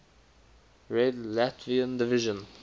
red latvian division